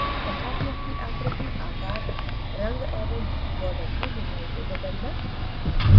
compartment की आकृति आकार रंग एवं बॉर्डर की मोटाई को बदलना